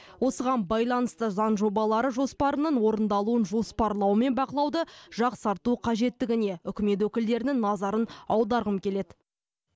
осыған байланысты заң жобалары жоспарының орындалуын жоспарлау мен бақылауды жақсарту қажеттігіне үкімет өкілдерінің назарын аударғым келеді